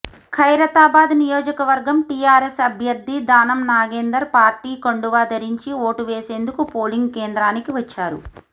ఖైరతాబాద్ నియోజకవర్గం టీఆర్ఎస్ అభ్యర్థి దానం నాగేందర్ పార్టీ కండువా ధరించి ఓటు వేసేందుకు పోలింగ్ కేంద్రానికి వచ్చారు